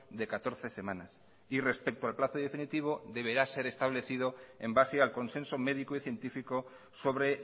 de catorce semanas y respecto al plazo definitivo deberá ser establecido en base al consenso médico y científico sobre